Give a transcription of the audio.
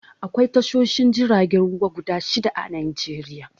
Akwai tashoshin jiragen ruwa guda shidda a Najeriya